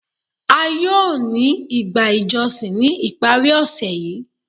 A yóò ni igbá ijọsin ni iparí òṣè yìí.